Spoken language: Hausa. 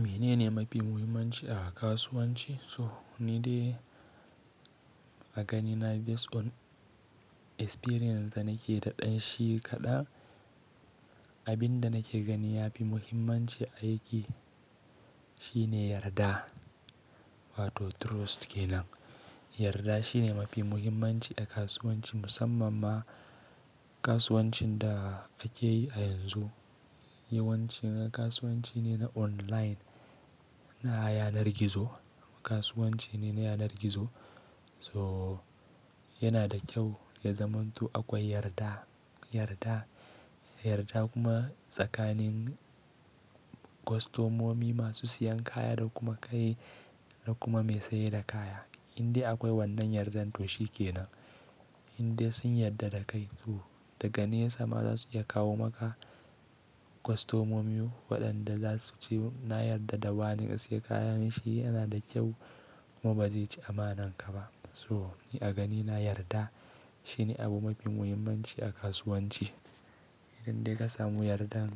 Menene mafi muhimmanci a kasuwanci? So ni dai a ganina based on experience da nake da ɗan shi kaɗa. Abin da nake gani yafi muhimmanci aiki shine yarda, wato trust kenan. Yarda shine mafi muhimmanci a kasuwanci musamman ma kasuwancin da ake yi a yanzu. Yawanci kasuwanci ne na online, na yanar gizo, kasuwanci ne na yanar gizo. So yana da kyau ya zama to akwai yarda, yarda, yarda kuma tsakanin kwastomomi masu siyan kaya da kuma kai da kuma mai sayar da kaya. Inde akwai wannan yardan to shi kenan. Inde sun yarda da kai to daga nesa za su iya kawo maka kwastomomi waɗanda za su ce na yarda da wane ya sai kayan shi yana da kyau kuma ba zai ci amanar ka ba. So ni a ganina yarda shine abu mafi muhimmanci a kasuwanci. Inda ka samu yardan